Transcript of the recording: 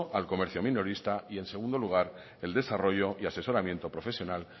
al comercio minorista y en segundo lugar el desarrollo y asesoramiento profesional